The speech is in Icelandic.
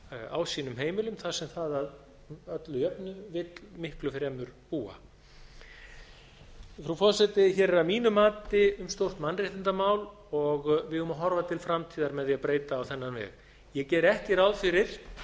á sínum heimilum þar sem það að öllu jöfnu vill miklu fremur búa frú forseti hér er að mínu mati um stórt mannréttindamál og við eigum að horfa til framtíðar með því að breyta á þennan veg ég geri ekki ráð fyrir